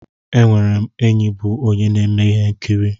Enwere m enyi bụ onye na-eme ihe nkiri.